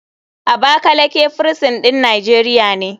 Abakaleke firisin ɗin nijeria ne.